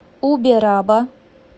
убераба